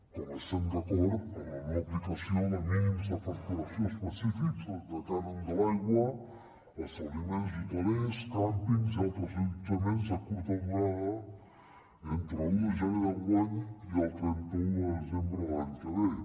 com estem d’acord amb la no aplicació de mínims de facturació específics del cànon de l’aigua a establiments hotelers càmpings i altres allotjaments de curta durada entre l’un de gener d’enguany i el trenta un de desembre de l’any que ve